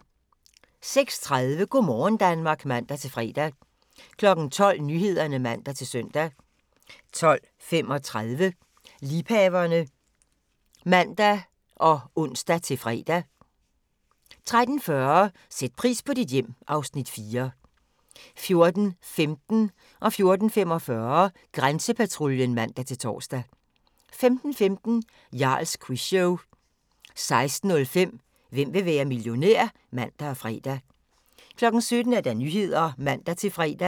06:30: Go' morgen Danmark (man-fre) 12:00: Nyhederne (man-søn) 12:35: Liebhaverne (man og tor) 13:10: Liebhaverne (man og ons-fre) 13:40: Sæt pris på dit hjem (Afs. 4) 14:15: Grænsepatruljen (man-tor) 14:45: Grænsepatruljen (man-tor) 15:15: Jarls Quizshow 16:05: Hvem vil være millionær? (man og fre) 17:00: Nyhederne (man-fre)